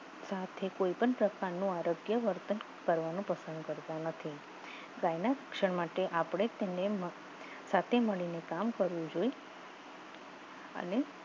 કોઈપણ પ્રકારનો આરોગ્ય વર્તન કરવાનું પસંદ કરતા નથી ગાયના ક્ષણ માટે આપણે તેને સાથે મળીને કામ કરવું જોઈએ અને